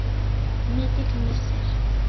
Mikill missir.